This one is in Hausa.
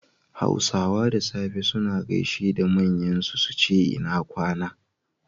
Hausawa da safe suna gaishe da manyan su, suce ina kwAna